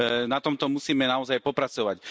Na tomto musíme naozaj popracovať.